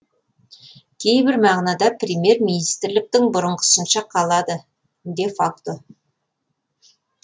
кейбір мағынада премьер министрліктің бұрынғысынша қалады де факто